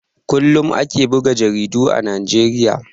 Kullum ake buga jaridu a Najeriya.